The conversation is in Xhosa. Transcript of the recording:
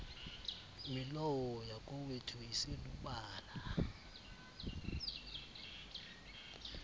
milowo yakowethu iselubala